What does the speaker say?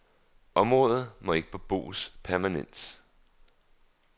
Området må ikke beboes permanent.